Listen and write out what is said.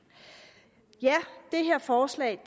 det her forslag